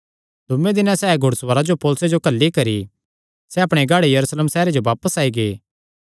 दूये दिने सैह़ घुड़सवारां जो पौलुसे जो सौगी घल्ली करी सैह़ अपणे गढ़ यरूशलेम सैहरे जो बापस आई गै